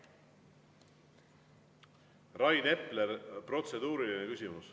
Rain Epler, protseduuriline küsimus.